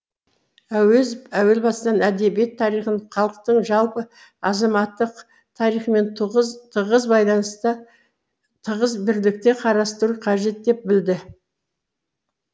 әуезов әуел бастан әдебиет тарихын халықтың жалпы азаматтық тарихымен тығыз бірлікте қарастыру қажет деп білді